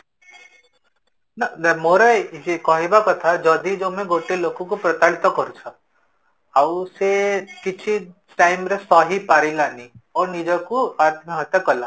ନା, ନା ମୋର କହିବା କଥା କି ଯଦି ତମେ ଗୋଟେ ଲୋକ କୁ ପ୍ରତାରିତ କରୁଛ ଆଉ ସେ କିଛି time ରେ ସହି ପାରିଲାନି ଆଉ ନିଜକୁ ଆତ୍ମହତ୍ୟା କଲା